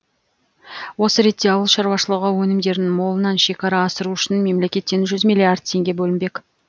осы ретте ауыл шаруашылығы өнімдерін молынан шекара асыру үшін мемлекеттен жүз миллиард теңге бөлінбек